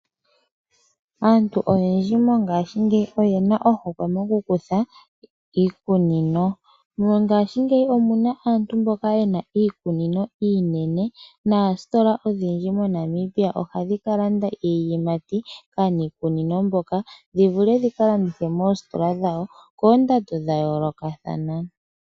Aantu oyendji mongaashingeyi oyena ohokwe moku kutha iikunino. Mongaashingeyi omuna aantu mboka yena iikunino iinene na oostola odhindji moNamibia oha dhi kalanda iiyimati kaaniikuno mboka, dhivule dhika landithwe moostola dhawo koondado dha yoolokathana.